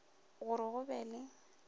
go re go be le